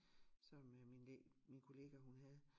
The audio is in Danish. Som øh min min kollega hun havde